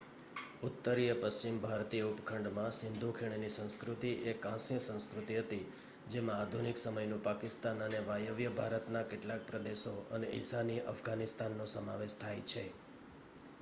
ઉત્તરીય પશ્ચિમ ભારતીય ઉપખંડમાં સિંધુ ખીણની સંસ્કૃતિ એ કાંસ્ય સંસ્કૃતિ હતી જેમાં આધુનિક સમયનું પાકિસ્તાન અને વાયવ્ય ભારતના કેટલાક પ્રદેશો અને ઈશાનીય અફઘાનિસ્તાનનો સમાવેશ થાય છે